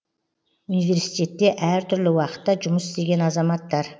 университетте әр түрлі уақытта жұмыс істеген азаматтар